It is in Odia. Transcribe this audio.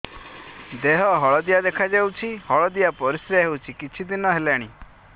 ଦେହ ହଳଦିଆ ଦେଖାଯାଉଛି ହଳଦିଆ ପରିଶ୍ରା ହେଉଛି କିଛିଦିନ ହେଲାଣି